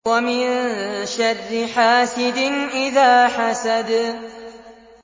وَمِن شَرِّ حَاسِدٍ إِذَا حَسَدَ